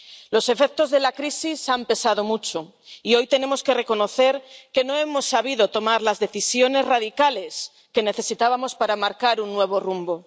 Los efectos de la crisis han pesado mucho y hoy tenemos que reconocer que no hemos sabido tomar las decisiones radicales que necesitábamos para marcar un nuevo rumbo.